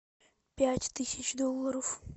пять тысяч долларов